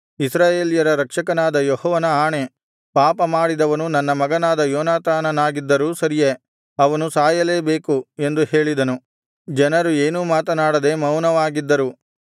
ಇಸ್ರಾಯೇಲ್ಯರ ರಕ್ಷಕನಾದ ಯೆಹೋವನ ಆಣೆ ಪಾಪಮಾಡಿದವನು ನನ್ನ ಮಗನಾದ ಯೋನಾತಾನನಾಗಿದ್ದರೂ ಸರಿಯೇ ಅವನು ಸಾಯಲೇಬೇಕು ಎಂದು ಹೇಳಿದನು ಜನರು ಏನೂ ಮಾತನಾಡದೆ ಮೌನವಾಗಿದ್ದರು